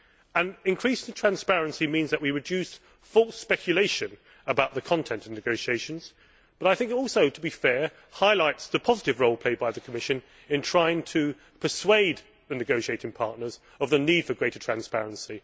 An increase in transparency means that we reduce false speculation about the content of the negotiations, but also, to be fair, highlights the positive role played by the Commission in trying to persuade the negotiating partners of the need for greater transparency.